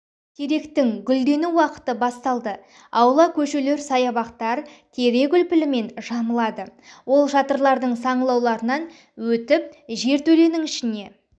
теректің гүлдену уақыты басталды аула көшелер саябақтар терек үлпілімен жамылады ол шатырлардың саңылауларынан өтіп жертөленің ішіне